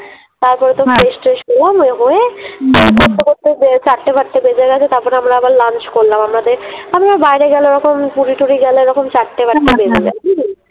তারপরে তো fresh ট্রেশ হলাম ।ওই হয়ে ওই করতে করতে চারটে ফারটে বেজে গেছে, তারপরে আমরা আবার Lunch করলাম। আমাদের আমরা ওই বাইরে গেলে ওরকম পুরী টুরি গেলে ওরকম চারটে ফারটে বেজে যায় বুঝলি।